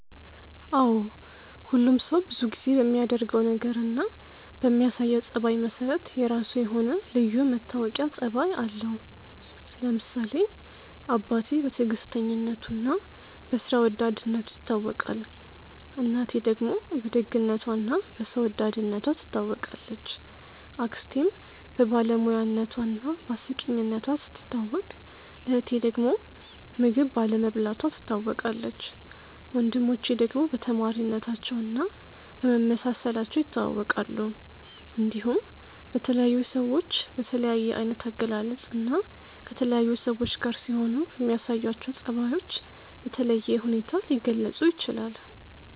አዎ ሁሉም ሰው ብዙ ጊዜ በሚያደርገው ነገር እና በሚያሳየው ጸባይ መሰረት የራሱ የሆነ ልዩ መታወቂያ ጸባይ አለው። ለምሳሌ አባቴ በትዕግስተኝነቱ እና በስራ ወዳድነቱ ይታወቃል፣ እናቴ ደግሞ በደግነቷ እና በሰው ወዳድነቷ ትታወቃለች፣ አክስቴም በባለሙያነቷ እና በአስቂኝነቷ ስትታወቅ እህቴ ዳግም ምግብ ባለመብላቷ ትታወቃለች፣ ወንድሞቼ ደግሞ በተማሪነታቸው እና በመመሳሰላቸው ይታወቃሉ። እንዲሁም በተለያዩ ሰዎች በተለያየ አይነት አገላለጽ እና ከተለያዩ ሰዎች ጋር ሲሆኑ በሚያሳዩአቸው ጸባዮች በተለየ ሁኔታ ሊገለጹ ይችላል።